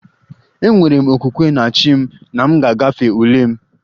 Enwere m okwukwe na 'chi' m na m ga-agafe ule m